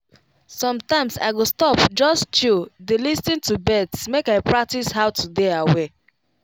sometimes i go stop just chill dey lis ten to birds make i practice how to dey aware.